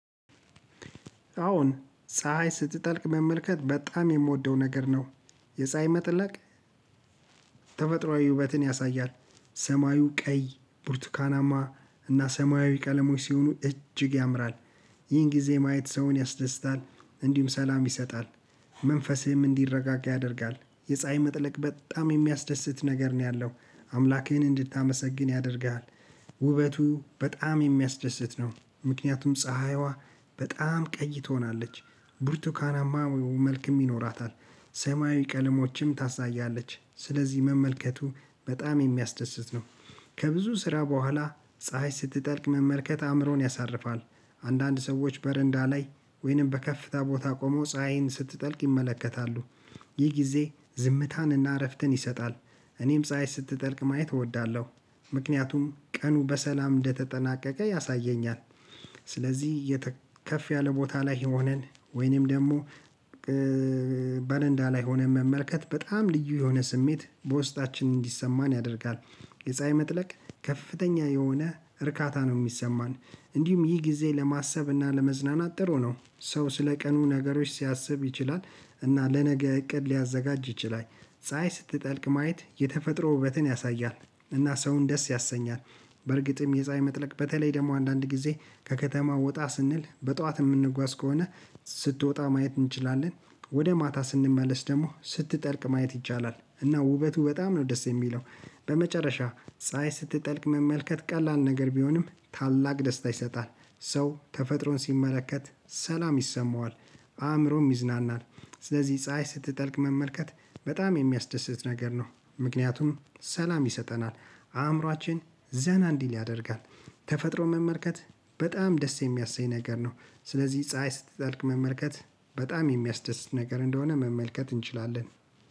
አሁን ፀሀይ ስትጠልቅ መመልከት በጣም የምወደው ነገር ነው። የፀሀይ መጥለቅ ተፈጥሯዊ ውበትን ያሳያል። ሰማዩ ቀይ፣ ቡርቱካናማ እና ሰማያዊ ቀለሞች ሲሆኑ እጅግ ያምራል። ይህን ጊዜ ማየት ሰውን ያስደስታል። እንዲሁም ሰላም ይሰጣል። መንፈስህም እንዲረጋጋ ያደርጋል። የፀሀይ መጥለቅ በጣም የሚያስደስት ነገር ነው ያለው። አምላክህን እንድታመሰግን ያደርግሃል። ውበቱ በጣም የሚያስደስት ነው። ምክንያቱም ፀሀይዋ በጣም ቀይ ትሆናለች፤ ብርቱካናማ መልክም ይኖራታል፤ ሰማያዊ ቀለሞችም ታሳያለች፤ ስለዚህ መመልከቱ በጣም የሚያስደስት ነው። ከብዙ ስራ በኋላ ፀሀይ ስትጠልቅ መመልከት አእምሮን ያሳርፋል። አንዳንድ ሰዎች በረንዳ ላይ ወይንም በከፍታ ቦታ ቆመው ፀሀይን ስትጠልቅ ይመለከታሉ። ይህ ጊዜ ዝምታንና እረፍትን ይሰጣል። እኔም ፀሀይ ስትጠልቅ ማየት እወዳለሁ። ምክንያቱም ቀኑ በሰላም እንደተጠናቀቀ ያሳየኛል። ስለዚህ ከፍ ያለ ቦታ ላይ ሆነን ወይንም ደግሞ በረንዳ ላይ ሆነን መመልከት በጣም ልዩ የሆነ ስሜት በውስጣችን እንዲሰማን ያደርጋል። የፀሀይ መጥለቅ ከፍተኛ የሆነ እርካታ ነው የሚሰማን። እንዲሁም ይህ ጊዜ ለማሰብ እና ለመዝናናት ጥሩ ነው። ሰው ስለ ቀኑ ነገሮች ሲያስብ ይችላል እና ለነገ እቅድ ሊያዘጋጅ ይችላል። ፀሀይ ስትጠልቅ ማየት የተፈጥሮ ውበትን ያሳያል እና ሰውን ደስ ያሰኛል። በርግጥም የፀሀይ መጥለቅ በተለይ ደግሞ አንዳንድ ጊዜ ከከተማው ወጣ ስንል በጠዋት የምንጓዝ ከሆነ፤ ስትወጣ ማየት እንችላለን። ወደ ማታ ስንመለስ ደግሞ ስትጠልቅ ማየት ይቻላል እና ውበቱ በጣም ነው ደስ የሚለው። በመጨረሻ ፀሀይ ስትጠልቅ መመልከት ቀላል ነገር ቢሆንም ታላቅ ደስታ ይሰጣል። ሰው ተፈጥሮን ሲመለከት ሰላም ይሰማዋል። አእምሮም ይዝናናል። ስለዚህ ፀሀይ ስትጠልቅ መመልከት በጣም የሚያስደስት ነገር ነው። ምክንያቱም ሰላም ይሰጠናል አእምሮአችን ዘና እንዲል ያደርጋል። ተፈጥሮን መመልከት በጣም ደስ የሚያሰኝ ነገር ነው። ስለዚህ ፀሀይ ስትጠልቅ መመልከት በጣም የሚያስደስት ነገር እንደሆነ መመልከት እንችላለን።